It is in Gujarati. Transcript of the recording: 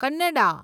કન્નડા